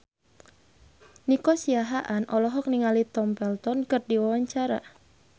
Nico Siahaan olohok ningali Tom Felton keur diwawancara